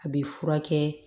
A bɛ furakɛ